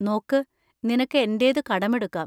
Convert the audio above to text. നോക്ക്, നിനക്ക് എന്‍റേത് കടമെടുക്കാം.